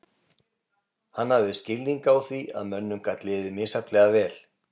Hann hafði skilning á því að mönnum gat liðið misjafnlega vel.